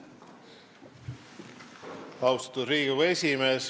Austatud Riigikogu esimees!